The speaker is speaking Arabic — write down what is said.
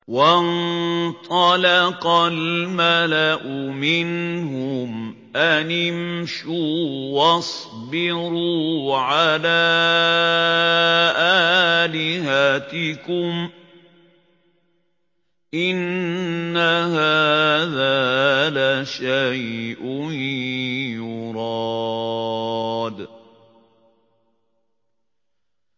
وَانطَلَقَ الْمَلَأُ مِنْهُمْ أَنِ امْشُوا وَاصْبِرُوا عَلَىٰ آلِهَتِكُمْ ۖ إِنَّ هَٰذَا لَشَيْءٌ يُرَادُ